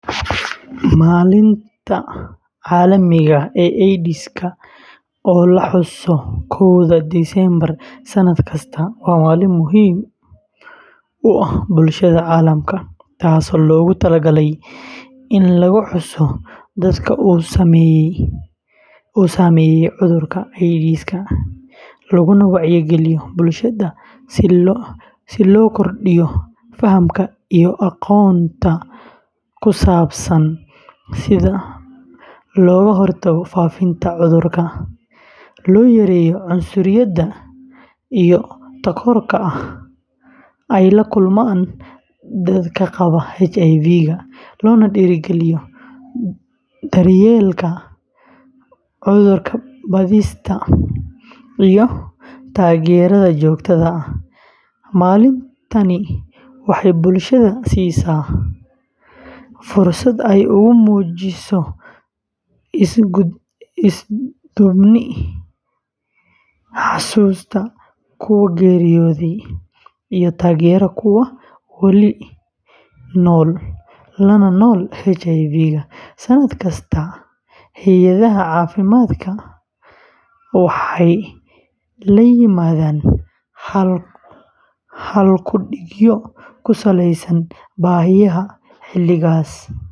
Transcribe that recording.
Maalinta Caalamiga ah ee AIDSka, oo la xuso koowda Diseembar sanad kasta, waa maalin muhiim u ah bulshada caalamka, taasoo loogu talagalay in lagu xuso dadka uu saameeyey cudurka AIDSka, laguna wacyigeliyo bulshada si loo kordhiyo fahamka iyo aqoonta ku saabsan sida loo hortago faafitaanka cudurka, loo yareeyo cunsuriyadda iyo takoorka ay la kulmaan dadka qaba HIVga, loona dhiirrigeliyo daryeelka, cudur-baadhista, iyo taageerada joogtada ah. Maalintani waxay bulshada siisaa fursad ay ugu muujiso isu-duubni, xasuusta kuwa geeriyooday, iyo taageerada kuwa wali nool la nool HIV. Sannad kasta, hay’adaha caafimaadka, waxay la yimaadaan hal-ku-dhigyo ku saleysan baahiyaha xilligaas.